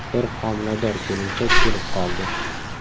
Bir homilador kelinchak kelib qoldi.